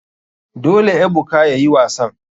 Dole ebuka yayi wasan.